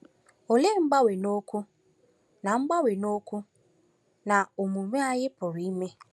Olee mgbanwe n’okwu na mgbanwe n’okwu na n’omume anyị pụrụ ime?